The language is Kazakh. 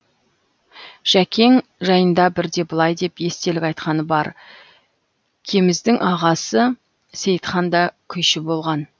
жәкең жайында бірде былай деп естелік айтқаны бар кеміздің ағасы сейітхан да күйші болған